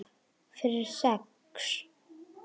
Fyrir sex?